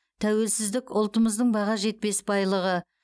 тәуелсіздік ұлтымыздың баға жетпес байлығы